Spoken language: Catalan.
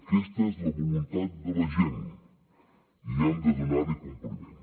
aquesta és la voluntat de la gent i hem de donar hi compliment